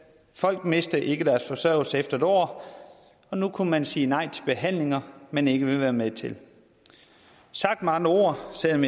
folk mister ikke deres forsørgelse efter en år og nu kan man sige nej til behandlinger man ikke vil være med til sagt med andre ord selv om